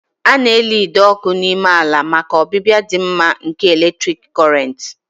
A na-eli ide ọkụ n'ime ala maka ọbịbịa dị mma nke eletrik Kọrịnt